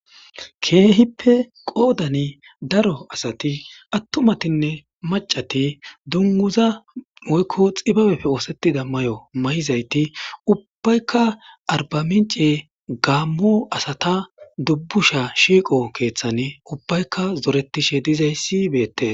keehippe qoodani daro asati attumatinne macati dunguza moykko xibabeppe oosettida may7o may7izayti ubbaykka arbamince gaammo asata dubbusha shiiqo keeththan ubbaykka zoretishe dizayssibeette